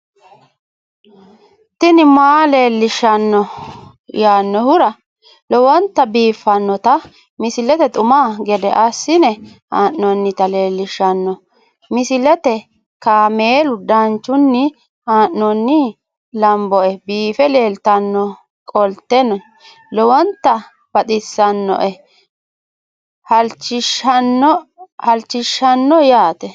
tini maa leelishshanno yaannohura lowonta biiffanota misile xuma gede assine haa'noonnita leellishshanno misileeti kaameru danchunni haa'noonni lamboe biiffe leeeltannoqolten lowonta baxissannoe halchishshanno yaate